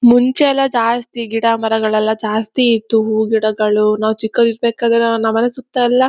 ಮುಂಚೆಯೆಲ್ಲಾ ಜಾಸ್ತಿ ಗಿಡ ಮರಗಳೆಲ್ಲಾ ಜಾಸ್ತಿ ಇತ್ತು. ಹೂವು ಗಿಡಗಳು ನಾವ್ ಚಿಕ್ಕವರು ಇರಬೇಕಾರೆ ನಮ್ಮ ಮನೆ ಸುತ್ತಯೆಲ್ಲಾ--